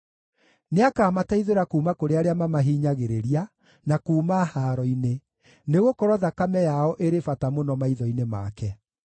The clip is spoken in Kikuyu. Nĩakamateithũra kuuma kũrĩ arĩa mamahinyagĩrĩria na kuuma haaro-inĩ, nĩgũkorwo thakame yao ĩrĩ bata mũno maitho-inĩ make.